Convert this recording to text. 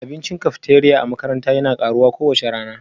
Abincin cafeteria na makaranta yana karuwa kowace rana